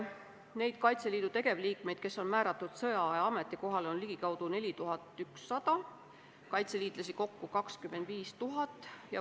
Neid Kaitseliidu tegevliikmeid, kes on määratud sõjaaja ametikohale, on ligikaudu 4100, kaitseliitlasi kokku on 25 000.